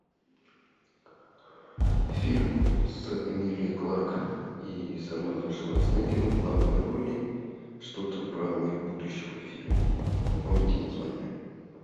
фильм с эмилией кларк и с арнольдом шварценеггером в главной роли что то про мир будущего фильм напомните название